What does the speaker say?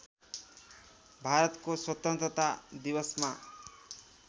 भारतको स्वतन्त्रता दिवसमा